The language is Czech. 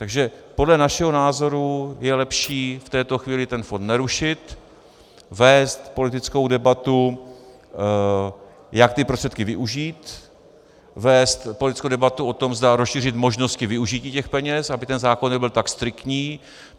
Takže podle našeho názoru je lepší v této chvíli ten fond nerušit, vést politickou debatu, jak ty prostředky využít, vést politickou debatu o tom, zda rozšířit možnosti využití těch peněz, aby ten zákon nebyl tak striktní.